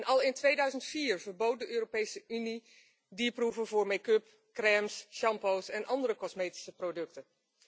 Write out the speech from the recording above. Al in 2004 verbood de Europese Unie dierproeven voor make up, crèmes, shampoos en andere cosmetische producten.